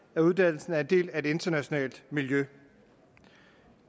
at uddannelsen er en del af et internationalt miljø